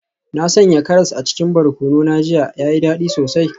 Na sanya karas a cikin barkono na jiya, ya yi dadi sosai.